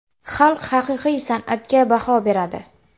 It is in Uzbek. Xalq haqiqiy san’atga baho beradi.